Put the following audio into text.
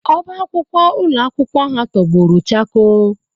Ọbá akwụkwọ ụlọ akwụkwọ ha tọgbọrọ chakoo